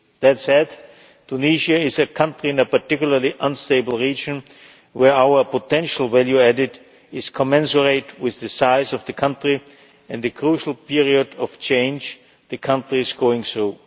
That said, Tunisia is a country in a particularly unstable region where our potential value added is commensurate with the size of the country and the crucial period of change the country is going through.